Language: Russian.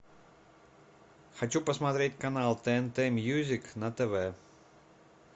хочу посмотреть канал тнт мьюзик на тв